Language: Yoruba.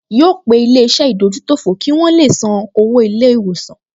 Yóò pe ilé-iṣẹ́ ìdójútòfò kí wọn le san owó ilé-ìwòsàn